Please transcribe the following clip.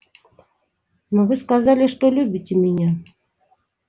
но вы сказали что любите меня